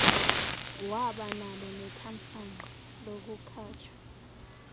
wabanalo nethamsanqa lokukhatshwa